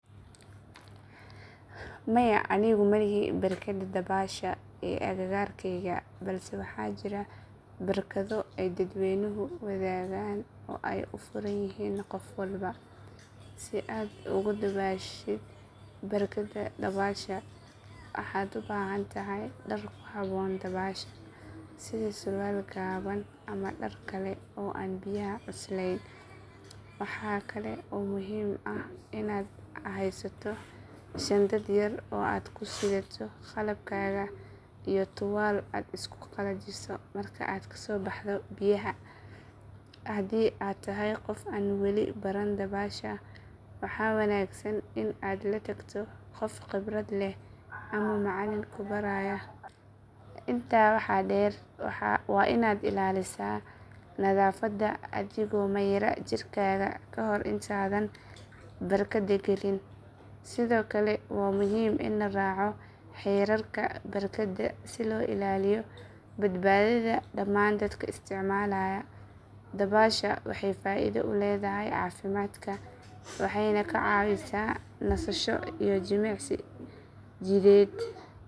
Maya anigu ma lihi barkadda dabaasha ee agagaarkayga balse waxaa jira barkado ay dadweynuhu wadaagaan oo ay u furan yihiin qof walba. Si aad ugu dabaashid barkadda dabaasha waxaad u baahan tahay dhar ku habboon dabaasha sida surwaal gaaban ama dhar kale oo aan biyaha cuslayn. Waxa kale oo muhiim ah inaad haysato shandad yar oo aad ku sidato qalabkaaga iyo tuwaal aad isku qalajiso marka aad kasoo baxdo biyaha. Haddii aad tahay qof aan weli baran dabaasha waxaa wanaagsan in aad la tagto qof khibrad leh ama macallin ku baraya sida loo dabaasho si aad badbaado u yeelato. Intaa waxaa dheer waa inaad ilaalisaa nadaafadda adigoo mayra jirkaaga ka hor intaadan barkadda gelin. Sidoo kale waa muhiim in la raaco xeerarka barkadda si loo ilaaliyo badbaadada dhammaan dadka isticmaalaya. Dabaasha waxay faaido u leedahay caafimaadka waxayna kaa caawisaa nasasho iyo jimicsi jidheed.